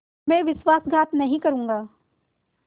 मैं विश्वासघात नहीं करूँगा